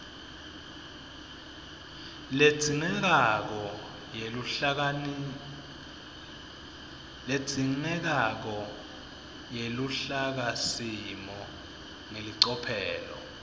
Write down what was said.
ledzingekako yeluhlakasimo ngelicophelo